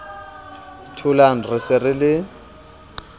tholang re se re le